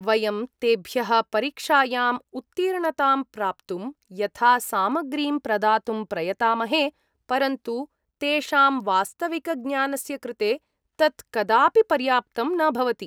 वयं तेभ्यः परीक्षायाम् उत्तीर्णतां प्राप्तुं यथा सामग्रीं प्रदातुं प्रयतामहे, परन्तु तेषां वास्तविकज्ञानस्य कृते तत् कदापि पर्याप्तं न भवति।